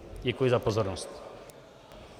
Děkuji za pozornost.